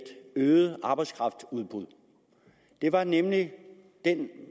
øget arbejdskraftudbud det er nemlig den